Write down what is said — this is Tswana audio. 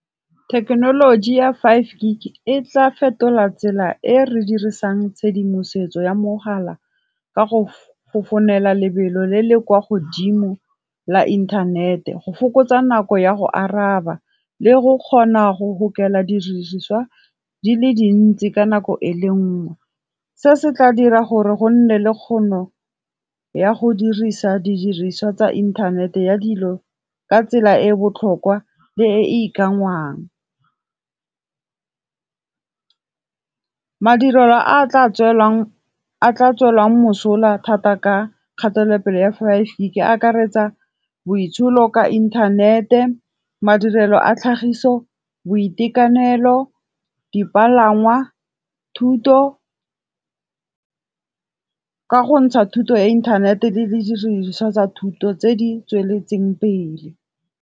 Thekenoloji ya Five Gig, e tla fetola tsela e re dirisang tshedimosetso ya mogala ka go founela lebelo le le kwa godimo la inthanete, go fokotsa nako ya go araba, le go kgona go gokela diriswa di le dintsi ka nako e le nngwe. Se se tla dira gore go nne le kgono ya go dirisa di diriswa tsa innthanete ya dilo ka tsela e e botlhokwa le e ikanngwang. Madirelo a tla tswelang mosola thata ka kgatelopele ya Five Gig a akaretsa boitsholo ka inthanete, madirelo a tlhagiso, boitekanelo, dipalangwa, thuto, ka go ntsha thuto ya inthanete le didiriswa tsa thuto tse di tsweletseng pele.